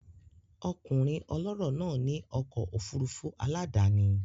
Ọkùnrin ọlọ́rọ̀ náà ní ọkọ̀ òfurufú aládàáni